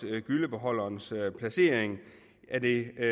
med gyllebeholderens placering er det